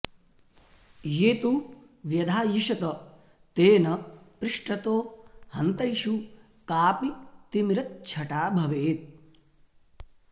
ये तु व्यधायिषत तेन पृष्ठतो हन्तैषु काऽपि तिमिरच्छटा भवेत्